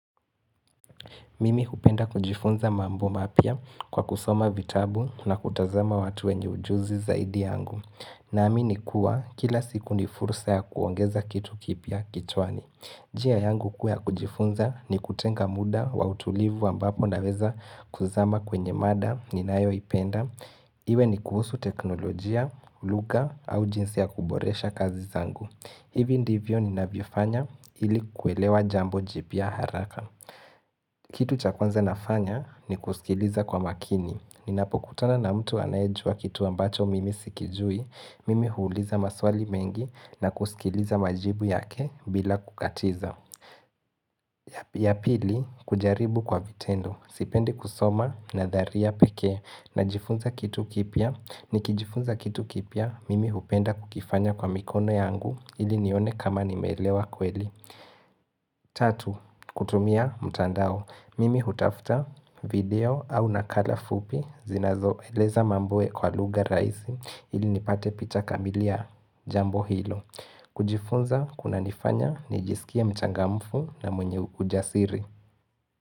Mimi hupenda kujifunza mambo mapia kwa kusoma vitabu na kutazama watu wenye ujuzi zaidi yangu. Naamini kuwa kila siku ni fursa ya kuongeza kitu kipia kichwani. Njia yangu kuu ya kujifunza ni kutenga muda wa utulivu ambapo naweza kuzama kwenye mada ni ninayoipenda. Iwe ni kuhusu teknolojia, lugha au jinsi ya kuboresha kazi zangu. Hivi ndivyo ninavyofanya ili kuelewa jambo jipia haraka. Kitu cha kwanza nafanya ni kusikiliza kwa makini. Ninapokutana na mtu anayejua kitu ambacho mimi sikijui, mimi huuliza maswali mengi na kusikiliza majibu yake bila kukatiza. Ya pili, kujaribu kwa vitendo. Sipendi kusoma nadharia peke na jifunza kitu kipia. Nikijifunza kitu kipia, mimi hupenda kukifanya kwa mikono yangu ili nione kama nimeelewa kweli. Tatu, kutumia mtandao Mimi hutafuta video au nakala fupi zinazo eleza mambo kwa lugha rahisi ili nipate picha kamili ya jambo hilo kujifunza kunanifanya nijisikie mchangamfu na mwenye ujasiri.